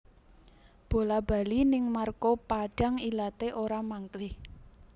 Bola bali ning Marco Padang ilate ora mangklih